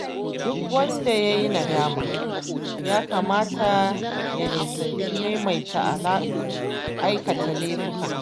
Duk wanda yayi nadama, ya kamata ya nisanci maimaita aikata laifuka.